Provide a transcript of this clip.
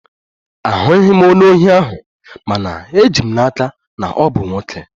Ahụghị m ihu onye ohi ahụ, mana eji m n'aka na ọ bụ nwoke